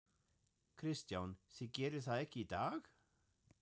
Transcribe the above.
Kristján: Þið gerið það ekki í dag?